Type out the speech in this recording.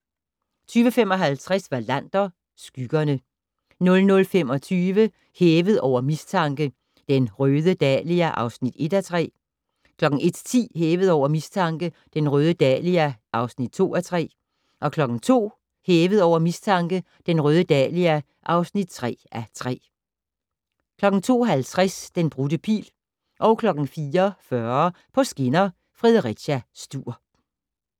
22:55: Wallander: Skyggerne 00:25: Hævet over mistanke: Den røde dahlia (1:3) 01:10: Hævet over mistanke: Den røde dahlia (2:3) 02:00: Hævet over mistanke: Den røde dahlia (3:3) 02:50: Den brudte pil 04:40: På skinner: Fredericia-Struer